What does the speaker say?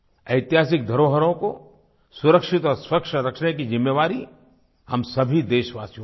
ऐतिहासिक धरोहरों को सुरक्षित और स्वच्छ रखने की ज़िम्मेवारी हम सभी देशवासियों की है